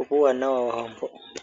opo puuwanawa wadho mpoka.